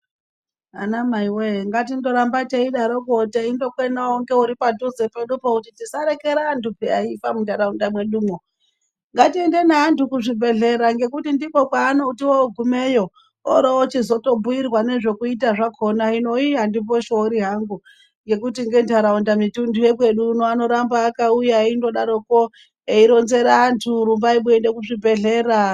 Anamai woye ngatindoramba teidaroko teindokwenawo ngeuri padhuze pedupo kuti tisarekera antu eifa muntaraunda mwedumwo ngatiende neantu kuzvibhedhlera nekuti ndikwo kwaanoti ogumeyo orochizobhuirwa nezvekuita zvakona hino iiii andimboshori hangu ngekuti ngentaraunda mitundu yekwedu uno anoramba akauya eindodaroko eironzera antu rumbai muende kuzvibhedhlera.